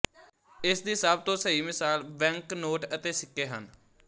ਇਸ ਦੀ ਸਭ ਤੋਂ ਸਹੀ ਮਿਸਾਲ ਬੈਂਕ ਨੋਟ ਅਤੇ ਸਿੱਕੇ ਹਨ